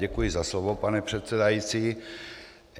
Děkuji za slovo, pane předsedající.